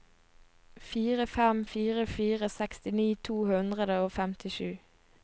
fire fem fire fire sekstini to hundre og femtisju